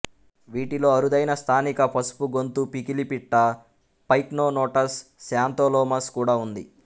వీటిలో అరుదైన స్థానిక పసుపు గొంతు పికిలిపిట్ట పైక్నోనోటస్ శాంతోలోమస్ కూడా ఉంది